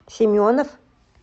семенов